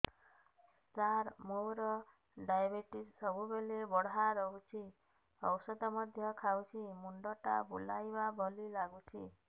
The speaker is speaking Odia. ସାର ମୋର ଡାଏବେଟିସ ସବୁବେଳ ବଢ଼ା ରହୁଛି ଔଷଧ ମଧ୍ୟ ଖାଉଛି ମୁଣ୍ଡ ଟା ବୁଲାଇବା ଭଳି ଲାଗୁଛି